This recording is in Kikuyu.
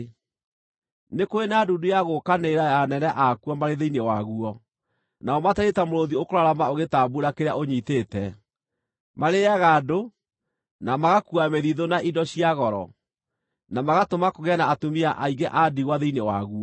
Nĩ kũrĩ na ndundu ya gũũkanĩrĩra ya anene akuo marĩ thĩinĩ waguo, nao matariĩ ta mũrũũthi ũkũrarama ũgĩtambuura kĩrĩa ũnyiitĩte; marĩĩaga andũ, na magakuua mĩthithũ na indo cia goro, na magatũma kũgĩe na atumia aingĩ a ndigwa thĩinĩ waguo.